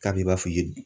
K'a b'i b'a f'i ye